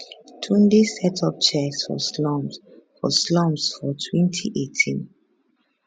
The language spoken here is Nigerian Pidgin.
tunde set up chess for slums for slums for 2018